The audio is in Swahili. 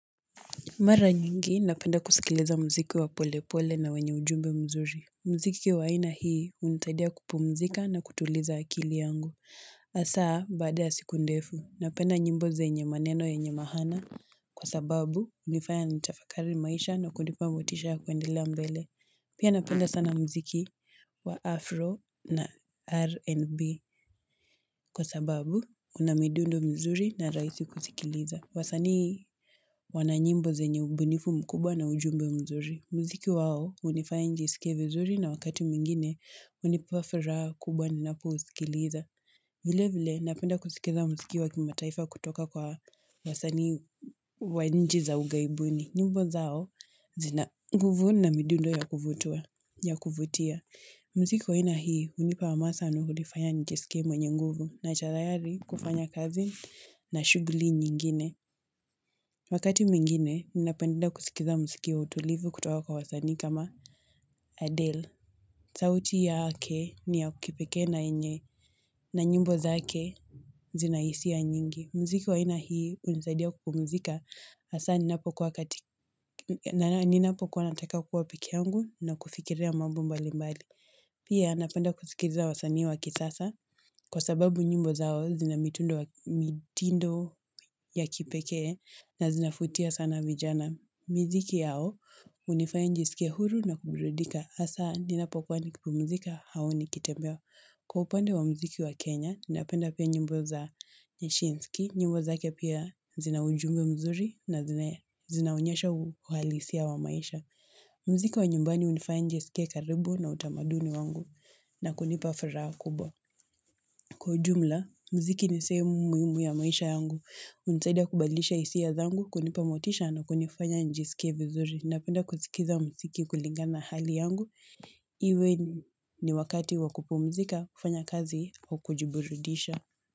Mara nyingi, napenda kusikiliza mziki wa pole pole na wenye ujumbe mzuri. Mziki wa aina hii, hunisaidia kupumzika na kutuliza akili yangu. Asa, baada ya siku ndefu, napenda nyimbo zenye maneno yenye maana kwa sababu hunifaya nitafakari maisha na kunipa motisha ya kuendelea mbele. Pia napenda sana mziki wa afro na rnb kwa sababu unamidundo mizuri na rahisi kusikiliza. Wasani wananyimbo zenye ubunifu mkubwa na ujumbe mzuri. Mziki wao hunifaya nijisikie vizuri na wakati mwingine hunipa furaha kubwa ninapo usikiliza. Vile vile napenda kusikiliza mziki wa kimataifa kutoka kwa wasani wa nchi za ughaibuni. Nyimbo zao zina nguvu na midundo ya kuvutia. Mziki wa aina hii hunipa hamasa na hunifanya nijisikie mwenye nguvu na chalayari kufanya kazi na shughuli nyingine. Wakati mwingine, ninapenda kusikiliza mziki wa utulivu kutoka kwa wasani kama Adele. Sauti yake ni ya kipekee na yenye na nyimbo zake zinahisia nyingi. Mziki wa aina hii hunisaidia kupumzika Asa ninapokuwa katika na ninapokuwa nataka kuwa peke yangu na kufikiria mambo mbali mbali. Pia, napenda kusikiliza wasanii waki sasa kwa sababu nyimbo zao zina mitindo ya kipekee na zinavutia sana vijana. Na miziki yao, hunifanya nijisikie huru na kuburudika Asa, ninapokuwa nikipumzika au nikitembea Kwa upande wa mziki wa Kenya, ninapenda pia nyimbo za nyashinski. Nyimbo zake pia zina ujumbe mzuri na zinaonyesha uhalisia wa maisha. Mziki wa nyumbani hunifanya nijisikie karibu na utamaduni wangu na kunipa furaha kubwa. Kwa ujumla, mziki ni sehemu muhimu ya maisha yangu. Hunisaidia kubadilisha hisia zangu, kunipa motisha na kunifanya nijisikie vizuri. Napenda kusikiliza mziki kulingana na hali yangu. Iwe ni wakati wa kupumzika, kufanya kazi wa kujiburudisha.